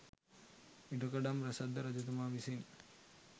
ඉඩකඩම් රැසක් ද රජතුමා විසින්